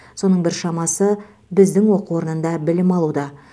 соның біршамасы біздің оқу орнында білім алуда